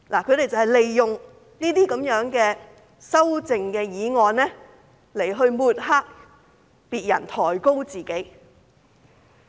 他們就是利用修正案來抹黑別人，抬高自己。